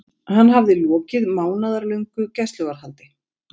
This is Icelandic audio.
Hann hafði lokið mánaðarlöngu gæsluvarðhaldi.